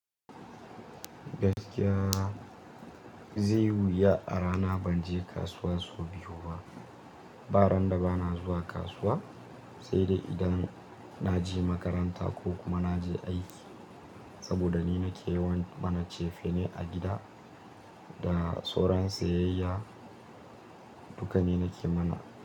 Gaskiya zai wuya a rana ban je kasuwa so biyu ba. Ba ran da ba na zuwa kasuwa, sai dai idan na je makaranta ko kuma na je aiki. Saboda ni nake yawan mana cefane a gida da sauran siyayya duka ni nake mana.